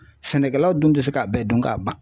Sɛnɛkɛlaw dun tɛ se k'a bɛɛ dun k'a ban.